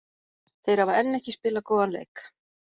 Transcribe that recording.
Þeir hafa enn ekki spilað góðan leik.